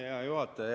Hea juhataja!